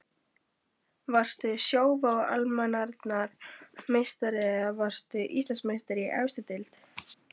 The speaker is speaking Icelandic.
Varstu Sjóvá Almennrar meistari eða varðstu Íslandsmeistari í efstu deild?